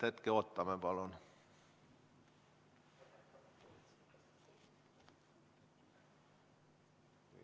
Hetke ootame, palun.